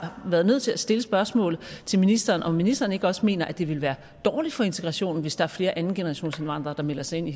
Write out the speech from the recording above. været nødt til at stille spørgsmålet til ministeren altså om ministeren ikke også mener at det vil være dårligt for integrationen hvis der er flere andengenerationsindvandrere der melder sig ind i